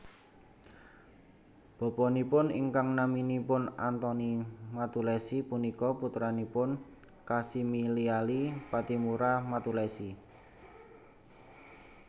Bapanipun ingkang naminipun Antoni Mattulessy punika putranipun Kasimiliali Pattimura Mattulessy